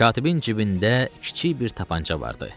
Katibin cibində kiçik bir tapança vardı.